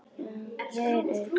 Hér er grænt.